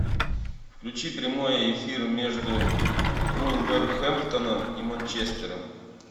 включи прямой эфир между вулверхэмптоном и манчестером